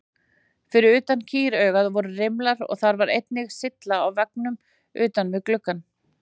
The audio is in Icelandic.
Fyrir utan kýraugað voru rimlar og þar var einnig sylla á veggnum utan við gluggann.